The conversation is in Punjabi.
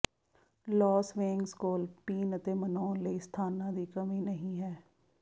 ਲਾਸ ਵੇਗਜ਼ ਕੋਲ ਪੀਣ ਅਤੇ ਮਨਾਉਣ ਲਈ ਸਥਾਨਾਂ ਦੀ ਕਮੀ ਨਹੀਂ ਹੈ